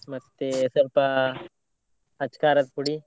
ಮತ್ತೆ ಸ್ವಲ್ಪ ಅಚ್ ಖಾರದ ಪುಡಿ.